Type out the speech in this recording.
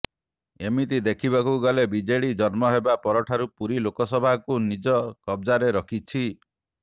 ଏମିତି ଦେଖିବାକୁ ଗଲେ ବିଜେଡି ଜନ୍ମ ହେବା ପରଠାରୁ ପୁରୀ ଲୋକସଭାକୁ ନିଜ କବ୍ଜାରେ ରଖିଛି